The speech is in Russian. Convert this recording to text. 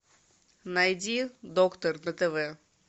найди доктор на тв